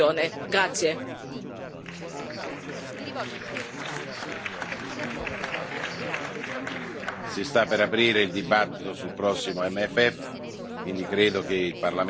Si sta per aprire il dibattito sul prossimo QFP, quindi credo che il Parlamento farà ascoltare la sua voce anche per quanto riguarda tutte le iniziative importanti che dovremo avviare